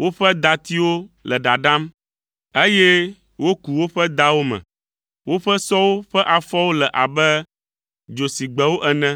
Woƒe datiwo le ɖaɖam, eye woku woƒe dawo me. Woƒe sɔwo ƒe afɔwo le abe dzosigbewo ene,